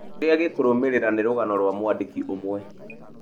Kĩrĩa gĩkũrũmĩrĩra nĩ rũgano rwa mwandĩki ũmwe.